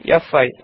ಫ್5